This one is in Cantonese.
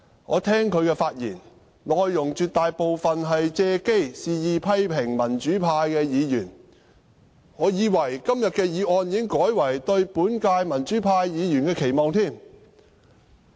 我聽其發言，內容絕大部分是借機肆意批評民主派議員，我還以為今天的議案已改為"對本屆民主派議員的期望"。